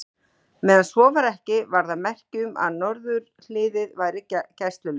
Meðan svo var ekki, var það merki um, að norðurhliðið væri gæslulaust.